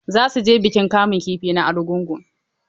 Za su je bikin kamun kifi na Argungu.